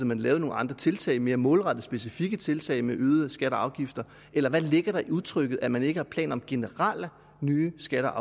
man lavede nogle andre tiltag mere målrettede specifikke tiltag med øgede skatter og afgifter eller hvad ligger der i udtrykket at man ikke har planer om generelle nye skatter